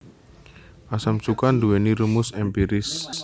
Asam cuka nduwèni rumus èmpiris